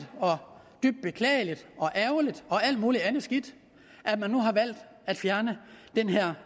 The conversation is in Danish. dybt beklageligt ærgerligt og alt muligt andet skidt at man nu har valgt at fjerne den her